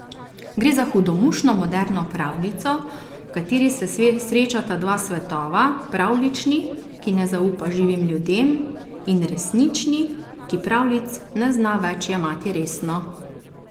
Gre za hudomušno moderno pravljico, v kateri se srečata dva svetova, pravljični, ki ne zaupa živim ljudem, in resnični, ki pravljic ne zna več jemati resno.